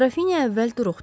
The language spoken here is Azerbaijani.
Qrafinya əvvəl duruxdu.